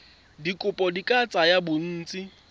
dikopo di ka tsaya bontsi